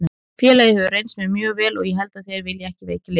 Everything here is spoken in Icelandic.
Félagið hefur reynst mér mjög vel og ég held að þeir vilji ekki veikja liðið.